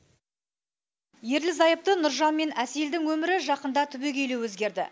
ерлі зайыпты нұржан мен әселдің өмірі жақында түбегейлі өзгерді